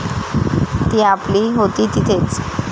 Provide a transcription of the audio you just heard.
ती आपली होती तिथेच!